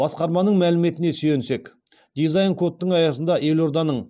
басқарманың мәліметіне сүйенсек дизайн кодтың аясында елорданың